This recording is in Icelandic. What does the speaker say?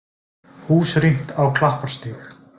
Hús rýmt á Klapparstíg